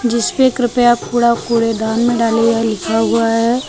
जिस पे कृपया कूड़ा कूड़ेदान में डालें यह लिखा हुआ है।